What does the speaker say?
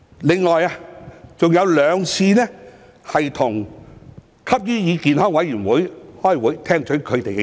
另有兩次跟香港吸煙與健康委員會開會，聽取他們的意見。